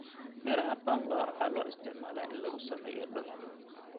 Midhaha pamba waxaa loo isticmaalaa in lagu sameeyo dhar.